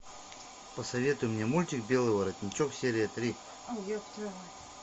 посоветуй мне мультик белый воротничок серия три